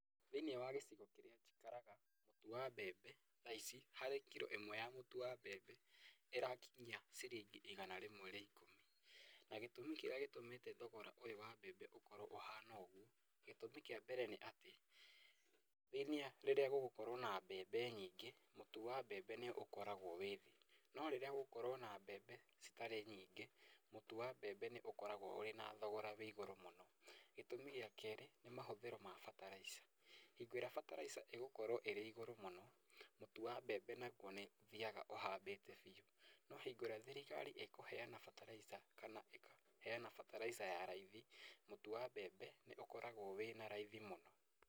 Thĩiniĩ wa gĩcigo kĩrĩa njikaraga mũtu wa mbembe tha ici harĩ kiro ĩmwe ya mũtu wa mbembe, ĩrakinyia ciringi igana rĩmwe rĩa ikũmi. Na gĩtũmi kĩrĩa gĩtũmĩte thogora ũyũ wa mbembe ũkorwo ũhana ũguo, gĩtũmi kĩa mbere nĩ atĩ rĩrĩa gũgũkorwo na mbembe nyingĩ, mũtu wa mbembe nĩ ũkoragwo wĩ thĩ. No rĩrĩa gũgũkorwo na mbembe citarĩ nyingĩ, mũtu wa mbembe nĩ ũkoragwo ũrĩ na thogora wĩ igũrũ mũno. Gĩtũmi gĩa kerĩ, nĩ mahũthĩro ma bataraica, hingo ĩrĩa bataraica ĩgũkorwo ĩrĩ igũrũ mũno, mũtu wa mbembe naguo nĩ ũthiaga ũhambĩte biũ. No hingo ĩrĩa thirikari ĩkũheana bataraica, kana ĩkaheana bataraica ya raithi, mũtu wa mbembe nĩ ũkoragwo wĩna raithi mũno.